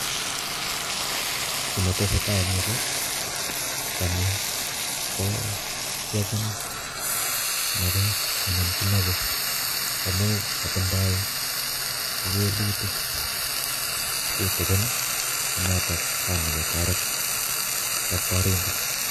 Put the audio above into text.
Ki netesetai eng yu ko tanyi ko kiochin napet anan kinope amu katindoi kewelutik tutikin ne noto kanokotoret daktorindet.